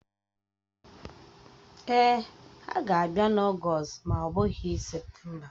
Èè, ha ga-abịa n'Ọgst ma ọ bụghị Septemba